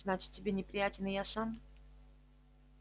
значит тебе неприятен я сам